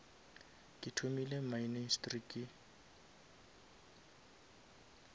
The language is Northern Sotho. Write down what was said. ke thomile ministry ke